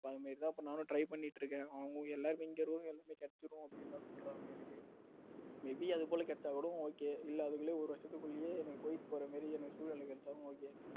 அது மாதிரி தான் நானும் try பண்ணிட்டு இருக்கேன் அவங்க எல்லாமே இங்க room எல்லாமே கிடைச்சுடும் அப்படின்னு தான் சொல்றாங்க எனக்கு may be அது கூட கிடைச்சா கூட எனக்கு okay இல்ல அதுக்குள்ளேயும் ஒரு வருஷத்துக்குள்ளயும் எனக்கு குவைத் போற மாதிரி எனக்கு சூழல் கிடைச்சாலும் okay